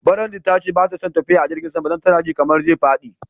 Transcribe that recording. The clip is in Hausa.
Brandy ta ce ba ta son tafiya da jirigin sama dan tana ji kaman zai fadi.